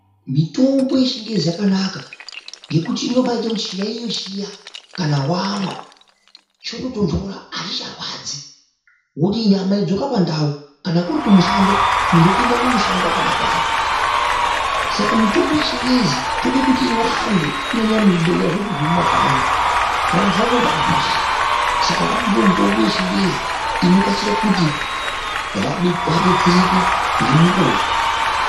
Mitombo yechingezi yakanaka nekuti inoite kuti chiyayiyo chiya kana wamwa choto tonhora achicharwadzi wodii nyama yodzoka pandau kana kuri kumushando muntu otenda kumushando akadakara ,saka mitombo yechingezi tode kuti iwande kunyanya muzvibhehleya zvedu zvemukanyi vantu vanoba arwara saka vanodawo mitombo yechingezi inokasire kuti vabetsereke ngemukuwo.